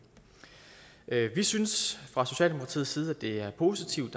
vi synes fra socialdemokratiets side at det er positivt